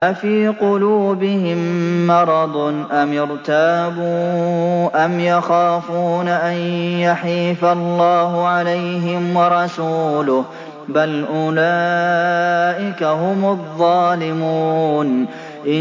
أَفِي قُلُوبِهِم مَّرَضٌ أَمِ ارْتَابُوا أَمْ يَخَافُونَ أَن يَحِيفَ اللَّهُ عَلَيْهِمْ وَرَسُولُهُ ۚ بَلْ أُولَٰئِكَ هُمُ الظَّالِمُونَ